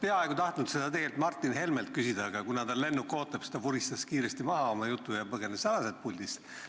Ma oleks tahtnud seda tegelikult Martin Helmelt küsida, aga kuna tal lennuk ootab, siis ta vuristas oma jutu kiiresti maha ja põgenes puldist.